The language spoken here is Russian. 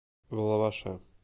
влаваше